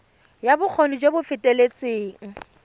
ya bokgoni jo bo feteletseng